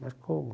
Mas como?